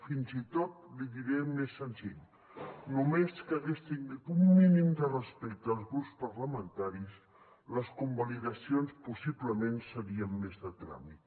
fins i tot l’hi diré més senzill només que hagués tingut un mínim de respecte als grups parlamentaris les convalidacions possiblement serien més de tràmit